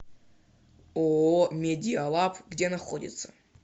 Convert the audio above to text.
ооо медиалаб где находится